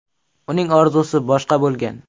Uning orzusi boshqa bo‘lgan.